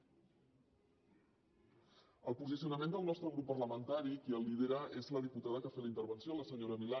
el posicionament del nostre grup parlamentari qui el lidera és la diputada que ha fet la intervenció la senyora vilà